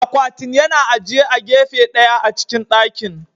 Akwatin yana ajiye a gefe ɗaya a cikin dakin.